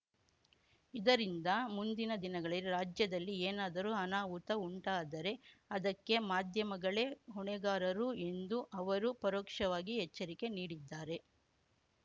ಇದರಿಂದ ಮುಂದಿನ ದಿನಗಳಲ್ಲಿ ರಾಜ್ಯದಲ್ಲಿ ಏನಾದರೂ ಅನಾಹುತ ಉಂಟಾದರೆ ಅದಕ್ಕೆ ಮಾಧ್ಯಮಗಳೇ ಹೊಣೆಗಾರರು ಎಂದೂ ಅವರು ಪರೋಕ್ಷವಾಗಿ ಎಚ್ಚರಿಕೆ ನೀಡಿದ್ದಾರೆ